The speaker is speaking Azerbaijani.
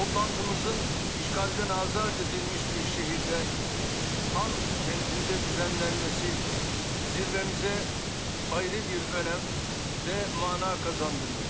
Toplantımızın işğaldan azad edilmiş bir şəhərdə Xankəndidə düzenlənməsi zirvəmizə ayrı bir önəm və məna qazandırır.